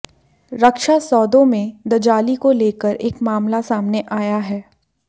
रक्षा सौदों में दजाली को लेकर एक मामला सामने आया है